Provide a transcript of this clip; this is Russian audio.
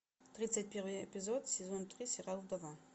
тридцать первый эпизод сезон три сериал вдова